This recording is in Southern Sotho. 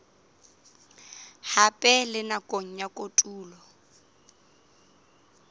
hape le nakong ya kotulo